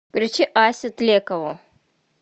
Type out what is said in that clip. включи асю тлекову